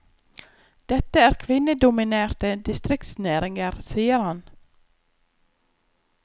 Dette er kvinnedominerte distriktsnæringer, sier han.